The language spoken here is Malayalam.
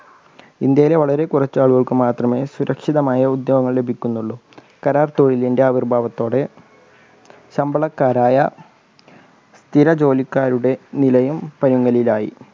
ഇന്ത്യയിലെ വളരെ കുറച്ചാളുകൾക്ക് മാത്രമേ സുരക്ഷിതമായ ഉദ്യോഗങ്ങൾ ലഭിക്കുന്നുള്ളൂ. കരാർ തൊഴിലിന്റെ ആവിർഭാവത്തോടെ ശമ്പളക്കാരായ സ്ഥിര ജോലിക്കാരുടെ നിലയും പരുങ്ങലിലായി.